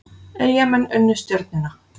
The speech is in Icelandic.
Eyjamenn unnu Stjörnuna